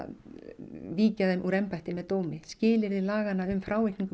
víkja þeim úr embætti með dómi skilyrði laganna um frávikningu